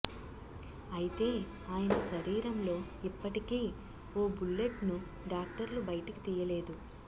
అయితే ఆయన శరీరంలో ఇప్పటికీ ఓ బుల్లెట్ను డాక్టర్లు బయటకు తీయలేదు